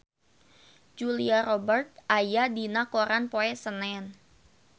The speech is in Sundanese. Julia Robert aya dina koran poe Senen